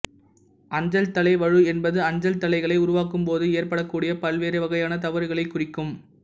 அஞ்சல்தலை வழு என்பது அஞ்சல்தலைகளை உருவாக்கும்போது ஏற்படக்கூடிய பல்வேறு வகையான தவறுகளைக் குறிக்கும்